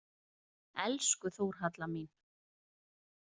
Elsku Þórhalla mín.